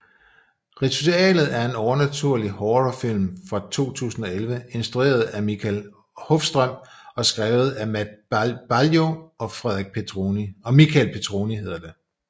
Ritualet er en overnaturlig horrorfilm fra 2011 instrueret af Mikael Håfström og skrevet af Matt Baglio og Michael Petroni